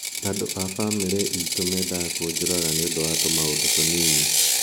"Andũ a famĩlĩ itũ mendaga kũnjũraga nĩ ũndũ wa tũmaũndũ tũnini".